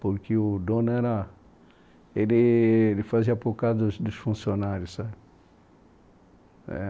Porque o dono era... Ele ele fazia por causa dos dos funcionários, sabe?